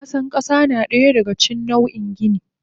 Kwasa kasa nadaya daga cikin nau in gini.